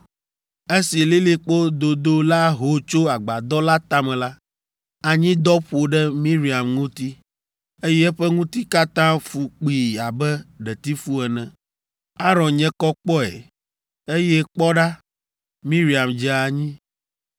Esi lilikpo dodo la ho tso agbadɔ la tame la, anyidɔ ƒo ɖe Miriam ŋuti, eye eƒe ŋuti katã fu kpii abe ɖetifu ene. Aron nye kɔ kpɔe, eye kpɔ ɖa, Miriam dze anyi.